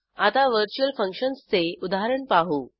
आता व्हर्च्युअल फंक्शन्सचे उदाहरण पाहू